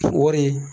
Wari